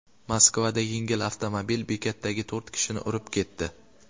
Moskvada yengil avtomobil bekatdagi to‘rt kishini urib ketdi.